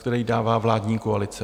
Který dává vládní koalice.